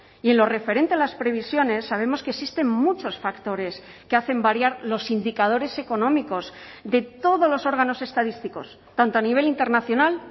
y en lo referente a las previsiones sabemos que existen muchos factores que hacen variar los indicadores económicos de todos los órganos estadísticos tanto a nivel internacional